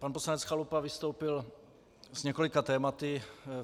Pan poslanec Chalupa vystoupil s několika tématy.